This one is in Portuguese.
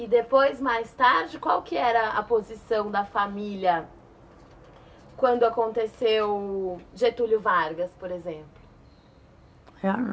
E depois, mais tarde, qual era a posição da família quando aconteceu Getúlio Vargas, por exemplo?